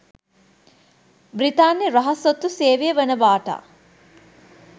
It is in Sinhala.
බ්‍රිතාන්‍ය රහස් ඔත්තු සේවය වනවටා.